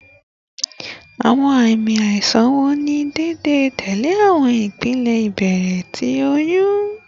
Awọn aami aisan wo ni deede tẹle awọn ipele ibẹrẹ ti oyun?